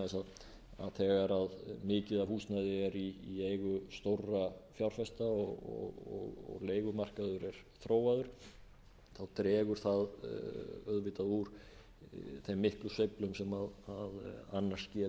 þess að þegar mikið af húsnæði er í eigu stórra fjárfesta og leigumarkaður er þróaður dregur það auðvitað úr þeim miklu sveiflum sem annars geta verið